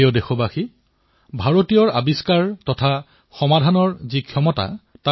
বন্ধুসকল আমাৰ দেশত থলুৱা খেলাসামগ্ৰীৰ এক সমৃদ্ধ পৰম্পৰা আছে